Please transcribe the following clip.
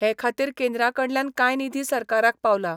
हे खातीर केंद्रा कडल्यान कांय निधी सरकाराक पावला.